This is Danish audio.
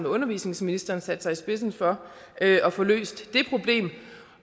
undervisningsministeren sat sig i spidsen for at at få løst